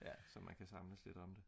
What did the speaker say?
ja så man kan samles lidt om det